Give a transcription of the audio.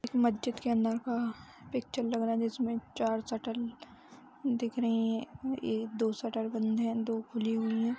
इस मस्जिद के अंदर हा पिक्चर लग रहा है जिसमे चार शटर दिख रही हैं ए दो शटर बंद हैं दो खुले हुए हैं।